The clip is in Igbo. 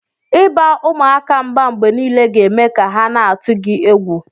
Iba umuaka mba mgbe nile ga eme ka ha na atụgi egwu.